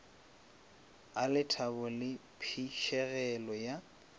a lethabo le phišegelo ya